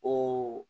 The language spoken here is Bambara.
O